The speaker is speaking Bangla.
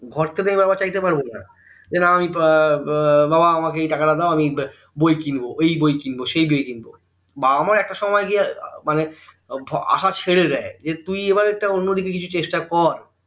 ঘর থেকে তো আমি বারবার চাইতে পারবো না যে আমি না এর উম বাবা আমাকে এই টাকাটা দাও আমি বই কিনবো ওই বই কিনবো সেই বই কিনবো বাবা মা একটা সময়ে গিয়ে মানে আশা ছেড়ে দেয় যে তুই এবার একটা অন্যদিকে কিছু চেষ্টা কর